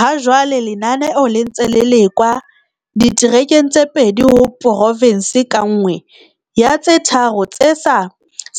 Hajwale lenaneo le ntse le lekwa diterekeng tse pedi ho porofense ka nngwe ya tse tharo tse sa